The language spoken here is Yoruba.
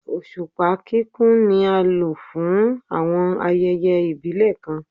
Oṣupa kikun ni a lo fun awọn ayẹyẹ ibile kan